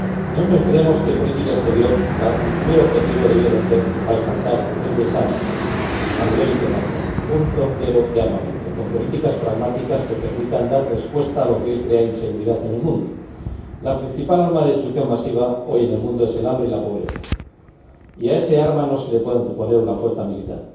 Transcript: Nosotros creemos que, en política exterior, el primer objetivo debería ser alcanzar el desarme a nivel internacional punto cero de armamento, y ello con políticas pragmáticas que permitan dar respuesta a lo que hoy crea inseguridad en el mundo. La principal arma de destrucción masiva hoy en el mundo es el hambre y la pobreza. Y a esa arma no se le puede anteponer una fuerza militar.